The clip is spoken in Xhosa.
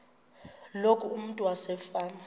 loku umntu wasefama